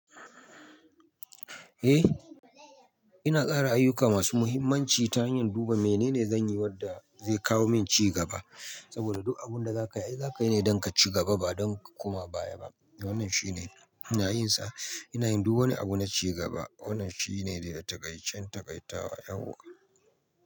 Eh, ina tsara ayuka masu muhimmanci ta hanyar duba menene zanyi wadda zai kawo min ci gaba. Saboda duk abun da zaka yi, zaka yi ne don ka ci gaba ba don ka koma baya ba. Wannan shine ina yin sa. Ina yin duk wani abu na ci gaba. Wannan shine ne dai a taƙaicen taƙaitawa yauwa.